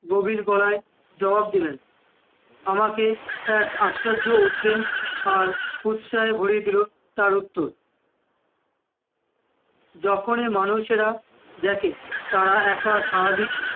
গভীর গলায় জবাব দিলেন, আমাকে এক আশ্চর্য উদ্যম আর উৎসাথে ভরিয়ে দিলো তার উত্তর, যখনি মানুষেরা দেখে তারা এক স্বাভাবিক